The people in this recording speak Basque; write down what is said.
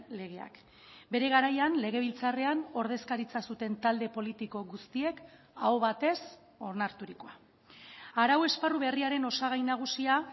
legeak bere garaian legebiltzarrean ordezkaritza zuten talde politiko guztiek aho batez onarturikoa arau esparru berriaren osagai nagusia